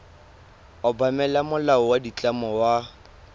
obamela molao wa ditlamo wa